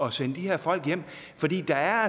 at sende de her folk hjem fordi der